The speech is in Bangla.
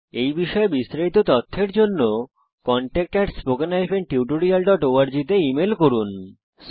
এই বিষয়ে বিস্তারিত তথ্যের জন্য কনট্যাক্ট spoken tutorialorg তে ইমেল করুন